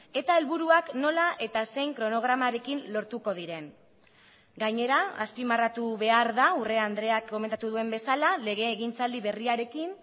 eta helburuak nola eta zein kronogramarekin lortuko diren gainera azpimarratu behar da urrea andreak komentatu duen bezala legegintzaldi berriarekin